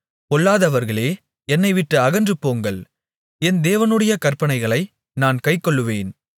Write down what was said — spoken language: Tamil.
பொல்லாதவர்களே என்னைவிட்டு அகன்றுபோங்கள் என் தேவனுடைய கற்பனைகளை நான் கைக்கொள்ளுவேன்